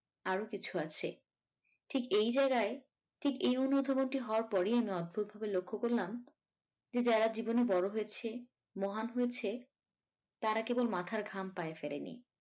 আরো কিছু আছে ঠিক এই জায়গায় ঠিক এই অনুধাবনটি হওয়ার পরেই আমি অদ্ভূত ভাবে লক্ষ্য করলাম যে যারা জীবনে বড় হয়েছে মহান হয়েছে তারা কেবল মাথার ঘাম পায়ে ফেলেনি।